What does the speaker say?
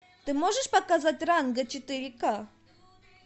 ты можешь показать ранго четыре ка